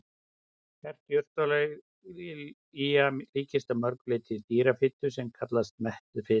Hert jurtaolía líkist að mörgu leyti dýrafitu sem kallast mettuð fita.